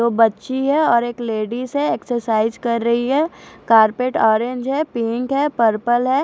तो बच्ची है और एक लेडीज है एक्ससाईस कर रही है कारपेट ओरेंज पिंक है पर्पल है।